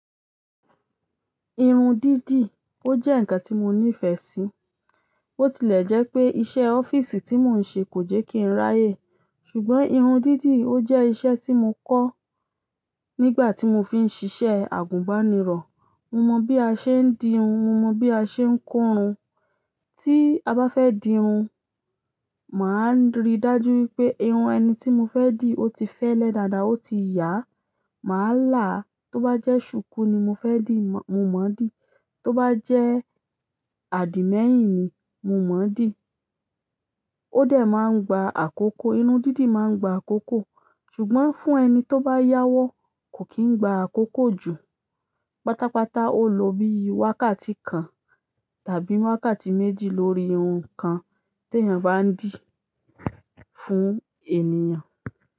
Irun dídì, ó jẹ́ ǹkan tí mo nífẹ̀ẹ́ sí. Ó tilẹ̀ jẹ́ pé iṣẹ́ ọ́fíìsì tí mò ń ṣe kò jẹ́ kí n ráyè. Ṣùgbọ́n irun dídì ó jẹ́ iṣẹ́ tí mo kọ́ nígbà tí mo fi ń ṣiṣẹ́ àgùnbánirọ̀. Mo mọ bí a ṣe ń di irun, mo mọ bí a ṣe ń ko irun. Tí a bá fẹ́ di irun, màá ríi dájú wípé irun ẹni tí mo fẹ́ dì ó ti fẹ́lẹ́ dáadáa, ó ti yà. Màá là á. Tó bá jẹ́ ṣùkú ni mo fẹ́ dì, mo mọ dì. Tó bá jẹ́ àdìmẹ́yìn ni, mo mọ dì. Ó dẹ̀ máa ń gba àkókò. Irun dídì máa ń gba àkókò. Ṣùgbọ́n fún ẹni tó bá yáwọ́, kò kí ń gba àkókò jù. Pátápátá ó lọ bí i wákàtí kan tàbí wákàtí méjì lórí irun kan tí èèyàn bá ń dì fún ènìyàn.